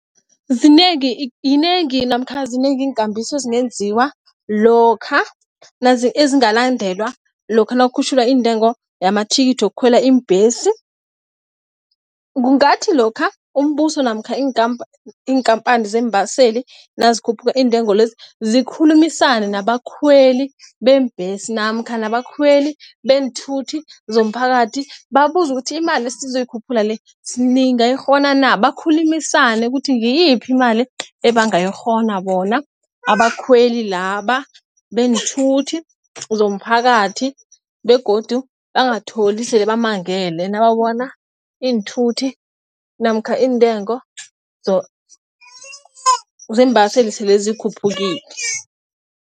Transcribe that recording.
Zinengi, inengi namkha zinengi iinkambiso ezingenziwa lokha ezingalandelwa lokha nakukhutjhulwa intengo yamathikithi wokukhwela iimbhesi. Kungathi lokha umbuso namkha iinkampani zeembaseli nazikhuphula intengo lezi zikhulumisane nabakhweli beembhesi, namkha nabakhweli beenthuthi zomphakathi. Babuze ukuthi imali esizoyikhuphula le ningayikghona na. Bakhulumisane ukuthi ngiyiphi imali ebangayikghona bona abakhweli laba beenthuthi zomphakathi. Begodu bangatholi sele bamangele nababona iinthuthi namkha iintengo zeembaseli sele zikhuphukile.